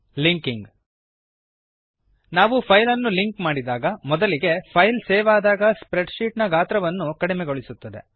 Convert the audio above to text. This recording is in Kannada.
ಲಿಂಕಿಂಗ್ ನಾವು ಪೈಲ್ ಅನ್ನು ಲಿಂಕ್ ಮಾಡಿದಾಗ ಮೊದಲಿಗೆ ಫೈಲ್ ಸೇವ್ ಅದಾಗ ಸ್ಪ್ರೆಡ್ ಶೀಟ್ ನ ಗಾತ್ರವನ್ನು ಕಡಿಮೆಗೊಳಿಸುತ್ತದೆ